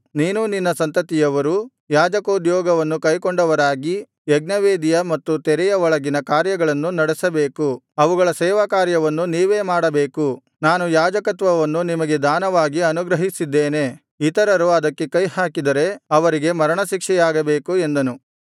ನೀನೂ ನಿನ್ನ ಸಂತತಿಯವರೂ ಯಾಜಕೋದ್ಯೋಗವನ್ನು ಕೈಕೊಂಡವರಾಗಿ ಯಜ್ಞವೇದಿಯ ಮತ್ತು ತೆರೆಯ ಒಳಗಿನ ಕಾರ್ಯಗಳನ್ನು ನಡೆಸಬೇಕು ಅವುಗಳ ಸೇವಾಕಾರ್ಯವನ್ನು ನೀವೇ ಮಾಡಬೇಕು ನಾನು ಯಾಜಕತ್ವವನ್ನು ನಿಮಗೆ ದಾನವಾಗಿ ಅನುಗ್ರಹಿಸಿದ್ದೇನೆ ಇತರರು ಅದಕ್ಕೆ ಕೈಹಾಕಿದರೆ ಅವರಿಗೆ ಮರಣಶಿಕ್ಷೆಯಾಗಬೇಕು ಎಂದನು